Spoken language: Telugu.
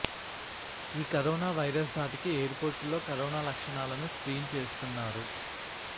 ఈ కరోనా వైరస్ ధాటికి ఎయిర్ పోర్టుల్లో కరోనా లక్షణాలను స్క్రీన్ చేస్తున్నారు